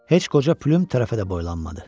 Heç qoca Plüm tərəfə də boylanmadı.